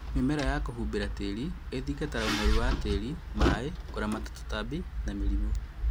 Mĩmera ya kũhumbĩra tĩri ĩthingataga ũnoru wa tĩri, maĩĩ, kũramata tũtambi na mĩrimũ